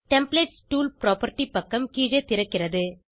templates tool property பக்கம் கீழே திறக்கிறது